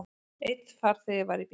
Einn farþegi var í bílnum.